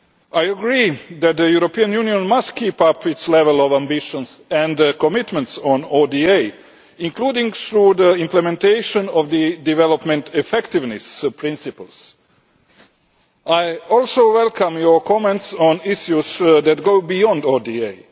I agree that the European Union must keep up its level of ambition and commitments on ODA, including through the implementation of the development effectiveness principles. I also welcome your comments on issues that go beyond ODA.